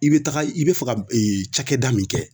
I be taga i be fɛ ka ee cakɛda min kɛ